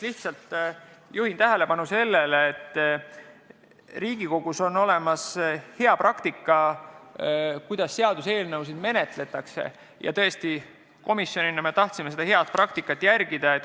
Ma juhin tähelepanu sellele, et Riigikogus on hea praktika, kuidas seaduseelnõusid menetletakse, ja me tahtsime komisjonina seda head praktikat järgida.